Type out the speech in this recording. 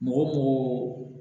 Mɔgɔ togo